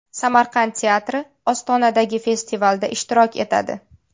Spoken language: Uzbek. Samarqand teatri Ostonadagi festivalda ishtirok etadi.